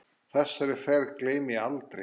Þessari ferð gleymi ég aldrei.